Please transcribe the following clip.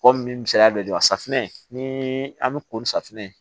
Kɔmi misaliya dɔ dira safunɛ ni an bɛ ko ni safunɛ ye